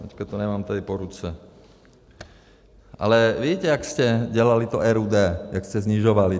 Teď to nemám tady po ruce, ale víte, jak jste dělali to RUD, jak jste snižovali.